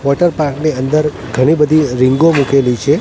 Water park ની અંદર ઘણી બધી રીંગો મૂકેલી છે.